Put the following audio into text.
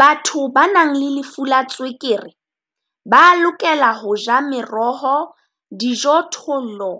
Batho ba nang le lefu la tswekere ba lokela ho ja meroho, dijothollo,